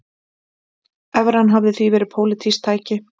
Evran hafi því verið pólitískt tæki